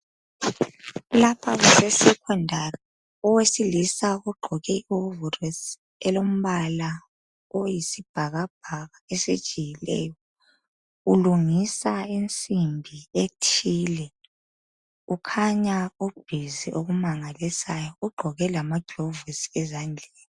Lapha kuse secondary owesilisa egqoke iwoverosi elombala oyisibhakabhaka esijiyileyo. Ulungisa insimbi ethile. Kukhanya ubhizi okumangalisayo ugqoke lamaglovisi ezandleni.